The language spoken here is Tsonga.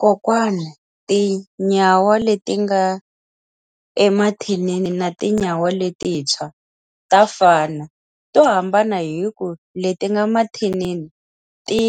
Kokwani tinyawa leti nga emathinini na tinyawa letintshwa, ta fana. To hambana hi ku, leti nga mathinini ti